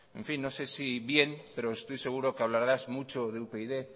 no se si bien pero estoy seguro que hablarás mucho de upyd